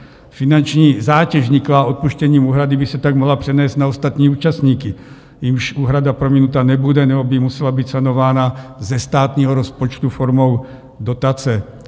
Finanční zátěž vzniklá odpuštěním úhrady by se tak mohla přenést na ostatní účastníky, jimž úhrada prominuta nebude, nebo by musela být sanována ze státního rozpočtu formou dotace.